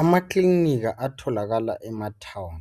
Ama klinika atholakala ematown